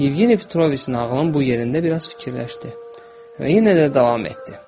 Yevgeni Petroviç nağılın bu yerində biraz fikirləşdi və yenə də davam etdi.